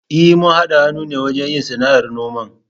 E, mun haɗa hannu ne wajen yin sana'ar noman.